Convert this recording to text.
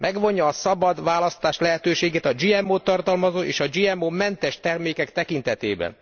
Megvonja a szabad választás lehetőségét a GMO t tartalmazó és a GMO mentes termékek tekintetében.